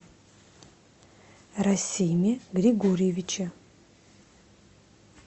расиме григорьевиче